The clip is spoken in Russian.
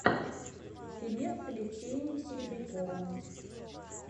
фильмец с алексеем серебряковым